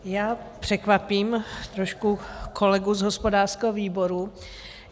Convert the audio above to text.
Já překvapím trošku kolegu z hospodářského výboru.